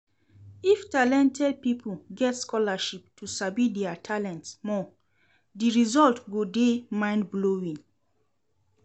If talented pipo get scholarship to sabi their talent more di result go de mind blowing